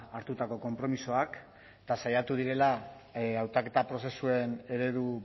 hartutako konpromisoak eta saiatu direla hautaketa prozesuen eredu